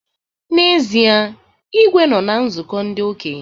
N'ezie, Igwe nọ na nzụkọ ndị okenye